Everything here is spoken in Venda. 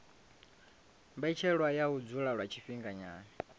mbetshelwa ya u dzula lwa tshifhinganyana